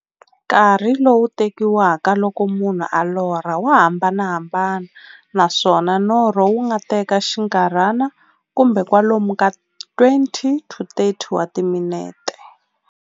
Nkarhi lowu tekiwaka loko munhu a lorha, wa hambanahambana, naswona norho wu nga teka xinkarhana, kumbe kwalomu ka 20-30 wa timinete.